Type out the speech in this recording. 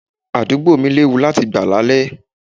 Àdúgbò mi léwu láti gbà là lè.